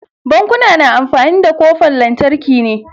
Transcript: Bankuna na amfani da kofan lantarki ne.